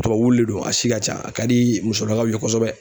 Tubabu wulu le do a si ka ca a ka di musolakaw ye kosɛbɛ.